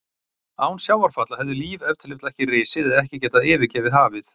Án sjávarfalla hefði líf ef til vill ekki risið eða ekki getað yfirgefið hafið.